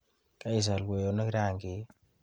Kaisal kwoyonik rangik?